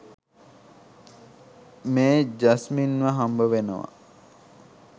මේ ජස්මින්ව හම්බවෙනවා.